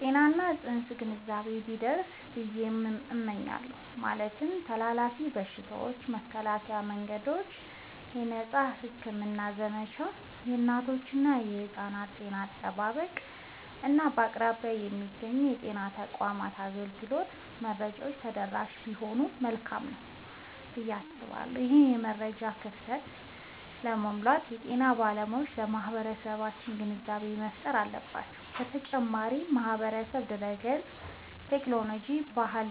የጤና እና የንፅህና ግንዛቤ ቢደርስ ብየ እመኛለሁ። ማለትም ተላላፊ በሽታዎችን የመከላከያ መንገዶች፣ የነፃ ሕክምና ዘመቻዎች፣ የእናቶችና የሕፃናት ጤና አጠባበቅ፣ እና በአቅራቢያ የሚገኙ የጤና ተቋማት አገልግሎት መረጃዎች ተደራሽ ቢሆኑ መልካም ነዉ ብየ አስባለሁ። ይህንን የመረጃ ክፍተት ለመሙላት የጤና ባለሙያዎች ለማህበረሰቡ ግንዛቤ መፍጠር አለባቸዉ። በተጨማሪም ማህበራዊ ድህረገጽን፣ ቴክኖሎጂንና ባህላዊ